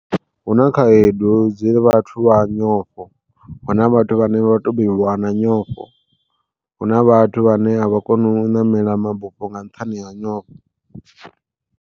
Huna khaedu dza vhathu vha nyofho, huna vhathu vhane vho tou bebiwa na nyofho huna vhathu vhane a vha koni u ṋamela mabufho nga nṱhani ha nyofho.